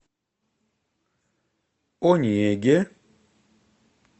онеге